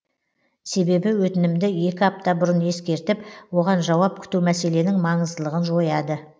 себебі өтінімді екі апта бұрын ескертіп оған жауап күту мәселенің маңыздылығын жояды